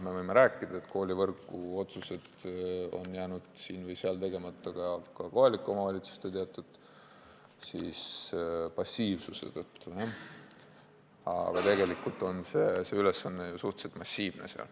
Me võime rääkida, et koolivõrguotsused on jäänud siin või seal tegemata ka kohalike omavalitsuste teatud passiivsuse tõttu, aga tegelikult on see ülesanne seal ju suhteliselt massiivne.